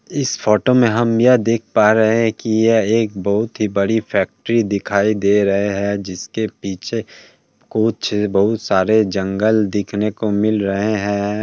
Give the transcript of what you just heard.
इस फोटो मे हम यह देख पा रहे है कि यह एक बहुत ही बड़ी फैक्ट्री दिखाई दे रहे है जिसके पीछे कुछ बहुत सारे जंगल देखने को मिल रहे है।